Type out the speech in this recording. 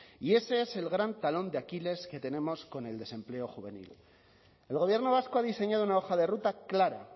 y ese es el gran talón de aquiles que tenemos con el desempleo juvenil el gobierno vasco ha diseñado una hoja de ruta clara